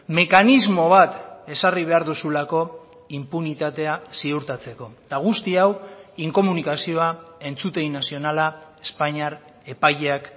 mekanismo bat ezarri behar duzulako inpunitatea ziurtatzeko eta guzti hau inkomunikazioa entzutegi nazionala espainiar epaileak